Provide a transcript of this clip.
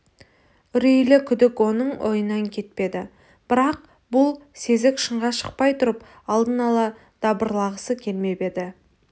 үрейлі күдік оның ойынан кетпеді бірақ бұл сезік шынға шықпай тұрып алдын ала дабырлағысы келмеп еді